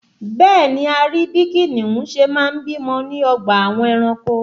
Bẹ́ẹ̀ni, a rí bí kìnìún ṣe máa ń bímọ ní ọgbà àwọn ẹranko